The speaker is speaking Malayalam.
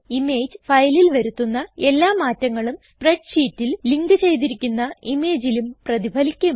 ഇമേജ് ഫയലിൽ വരുത്തുന്ന എല്ലാ മാറ്റങ്ങളും സ്പ്രെഡ്ഷീറ്റിൽ ലിങ്ക് ചെയ്തിരിക്കുന്ന ഇമേജിലും പ്രതിഫലിക്കും